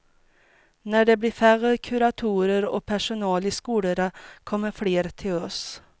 När det blir färre kuratorer och personal i skolorna kommer fler till oss.